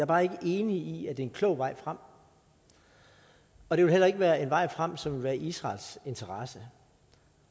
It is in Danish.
bare ikke enig i at det er en klog vej frem og det vil heller ikke være en vej frem som vil være i israels interesse